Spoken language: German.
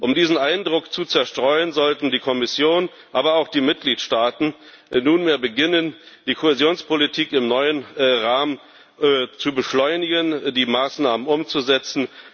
Um diesen Eindruck zu zerstreuen, sollte die Kommission, aber auch die Mitgliedstaaten nunmehr beginnen, die Kohäsionspolitik im neuen Rahmen zu beschleunigen, die Maßnahmen umzusetzen.